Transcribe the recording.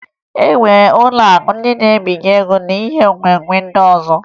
E nwere ụlọakụ ndị na-ebinye ego na ihe nwenwe ndị ọzọ